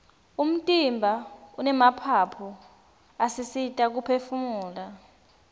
umtimba unemaphaphu asisita kuphefumula